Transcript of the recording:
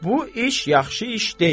Bu iş yaxşı iş deyil.